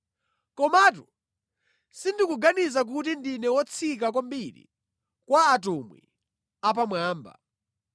Komatu sindikuganiza kuti ndine wotsika kwambiri kwa “atumwi apamwamba.”